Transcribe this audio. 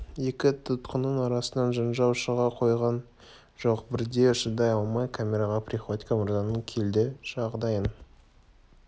екі тұтқынның арасынан жанжал шыға қойған жоқ бірде шыдай алмай камераға приходько мырзаның өзі келді жағдайың